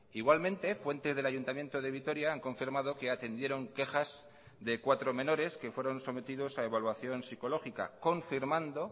igualmente fuentes del ayuntamiento de vitoria han confirmado que atendieron quejas de cuatro menores que fueron sometidos a evaluación psicológica confirmando